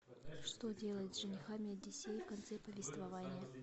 что делает с женихами одиссей в конце повествования